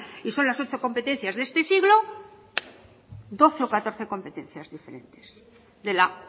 y son las ocho competencias de este siglo doce o catorce competencias diferentes de la